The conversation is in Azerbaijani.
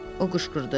O qışqırdı.